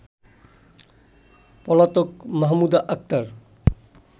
পলাতক মাহমুদা আক্তার